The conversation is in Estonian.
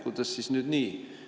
Kuidas siis nii?